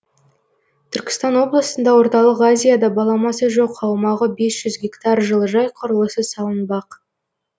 түркістан облысында орталық азияда баламасы жоқ аумағы бес жүз гектар жылыжай құрылысы салынбақ